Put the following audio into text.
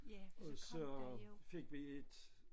Og så fik vi et